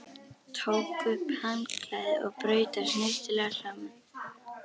Tók upp handklæðið og braut það snyrtilega saman.